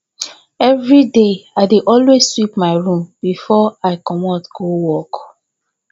evriday i dey always sweep my room bifor i comot go work